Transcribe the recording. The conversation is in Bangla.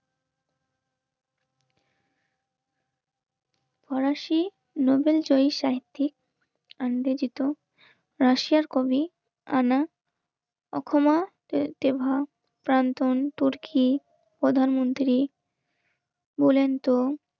ফরাসি নোবেল জয়ী সাইফিয়েট আনবেদিত রাশিয়ার কবি আনা অখমা প্রাণ তুর্কি প্রধানমন্ত্রী বলেন তো